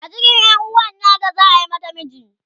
a cikin yanuwan nata za'a mata miji